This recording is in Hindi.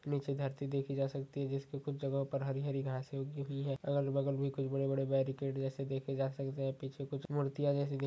नीचे धरती देखी जा सकती है जिसपे कुछ जगह पर हरी-हरी घासे उगी हुई है अगल बगल मे कुछ बड़े-बड़े बैरिकेट जैसे देखे जा सकते है पीछे कुछ मूर्तिया जैसी--